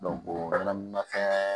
fɛn